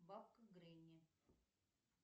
бабка гренни